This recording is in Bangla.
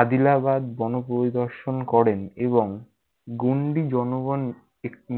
আদিলাবাদ পরিদর্শন করেন। এবং গুণ্ডি জনগণ